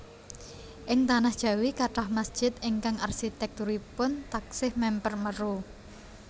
Ing tanah Jawi kathah mesjid ingkang arsitèkturipun taksih mèmper Meru